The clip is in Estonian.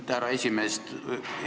Aitäh, härra esimees!